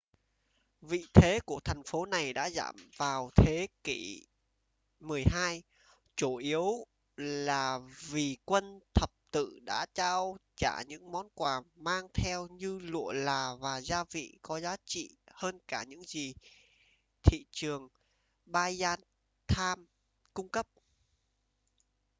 vị thế của thành phố này đã giảm vào thế kỷ xii chủ yếu là vì quân thập tự đã trao trả những món quà mang theo như lụa là và gia vị có giá trị hơn cả những gì thị trường byzantine cung cấp